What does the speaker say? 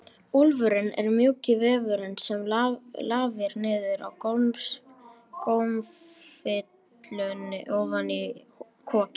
Úfurinn er mjúki vefurinn sem lafir niður úr gómfillunni ofan í kokið.